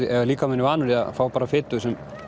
ef líkaminn er vanur því að fá bara fitu